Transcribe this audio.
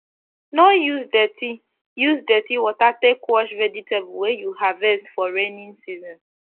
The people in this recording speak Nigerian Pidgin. no use dirty use dirty water take wash vegetable wey u harvest for raining season